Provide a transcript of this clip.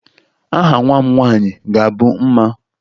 Aha nwa m nwaanyị ga-abụ Mma